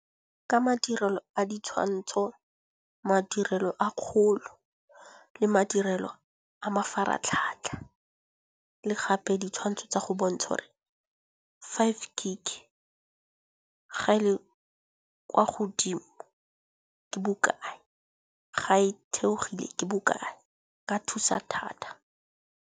Ka madirelo a ditshwantsho, madirelo a kgolo le madirelo a mafaratlhatlha le gape ditshwantsho tsa go bontsha gore five gig ga e le kwa godimo ke bokae. Ga e theogile ke bokae, e ka thusa thata.